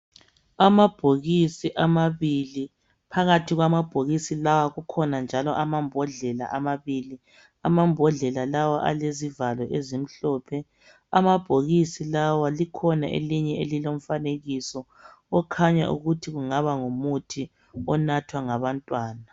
Amabhokisi amabili phakathi kwamabhokisi lawa kukhona njalo amambodlela amabili amambodlela lawa alezivalo ezimhlophe amabhokisi lawa likhona elinye elilomfanekiso okhanya ukuthi kungaba ngumuthi onathwa ngabantwana.